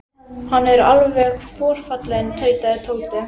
Hann er alveg forfallinn tautaði Tóti.